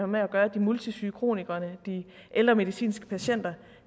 med at gøre de multisyge kronikerne de ældre medicinske patienter